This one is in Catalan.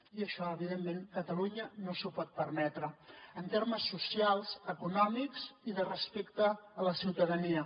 i això evidentment catalunya no s’ho pot permetre en termes socials econòmics i de respecte a la ciutadania